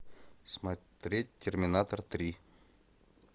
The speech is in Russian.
смотреть терминатор три